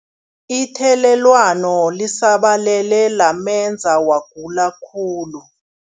Ithelelwano lisabalele lamenza wagula khulu.